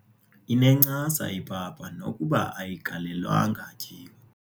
Inencasa ipapa nokuba ayigalelwanga tyiwa.